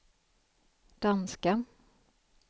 danska